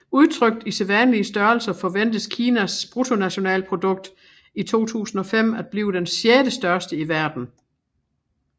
Udtrykt i sædvanlige størrelser forventes Kinas BNP i 2005 at blive den sjettestørste i verden